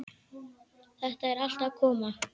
Þetta er allt að koma.